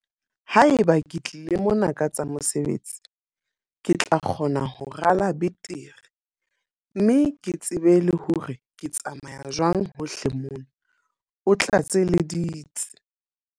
Haeba ke tlile mona ka tsa mosebetsi, ke tla kgona ho rala betere mme ke tsebe le hore ke tsamaya jwang hohle mona, o tlatseleditse.